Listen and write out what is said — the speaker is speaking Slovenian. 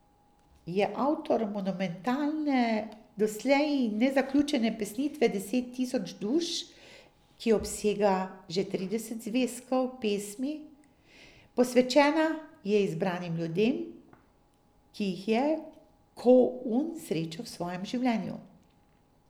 Je avtor monumentalne, doslej nezaključene pesnitve Deset tisoč duš, ki obsega že trideset zvezkov pesmi, posvečena je izbranim ljudem, ki jih je Ko Un srečal v svojem življenju.